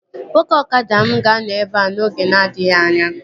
Nwoke ọkada m ga-anọ ebea n'oge na-adịghị anya